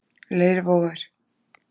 Leirvogur